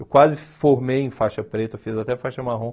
Eu quase formei em faixa preta, eu fiz até faixa marrom.